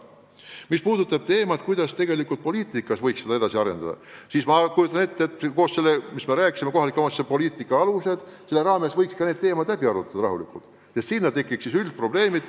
Mis puutub sellesse, kuidas poliitikat võiks edasi arendada, siis ma kujutan ette, et kohaliku omavalitsuse poliitika aluste raames võiks ka need teemad rahulikult koos teiste üldiste probleemidega läbi arutada.